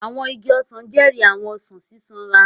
Àwọn igi ọsan jẹri àwọn ọsan sisanra.